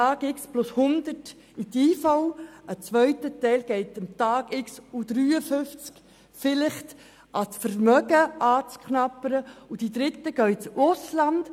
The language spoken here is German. Ein zweiter Teil beginnt vielleicht am Tag X plus 53 das Vermögen anzuknabbern und ein dritter geht ins Ausland.